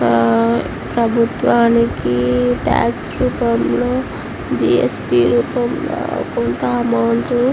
ఆ ప్రభుత్వానికి టాక్స్ రూపంలో జి_ఎస్_టి రూపంలో కొంత అమౌంట్ --